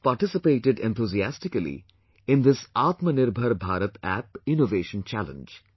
Our youth participated enthusiastically in this Aatma Nirbhar Bharat App innovation challenge